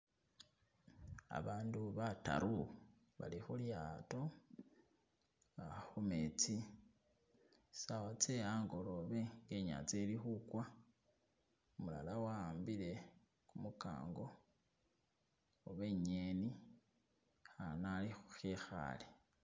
Abandu bataru bali khulyato uh khumetsi, saawa tse angolobe inyanga ili khugwa umulala wa'ambile kumukango oba ingeni akhana khali khekhale.